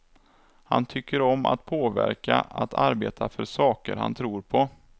Han tycker om att påverka, att arbeta för saker han tror på.